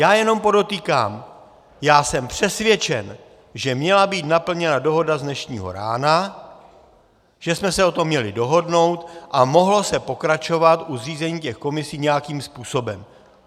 Já jenom podotýkám, já jsem přesvědčen, že měla být naplněna dohoda z dnešního rána, že jsme se o tom měli dohodnout, a mohlo se pokračovat u zřízení těch komisí nějakým způsobem.